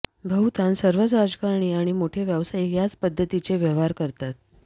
बहुतांश सर्वच राजकारणी आणि मोठे व्यावसायिक याच पद्दतीचे व्यवहार करतात